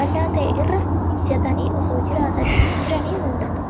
bal'aa ta'e irra ijjatanii osoo jiranii mul'atu.